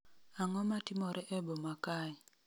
ang'o matimore e boma kae